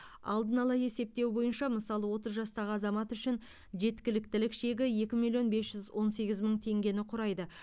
алдын ала есептеу бойынша мысалы отыз жастағы азамат үшін жеткіліктілік шегі екі миллион бес жүз он сегіз мың теңгені құрайды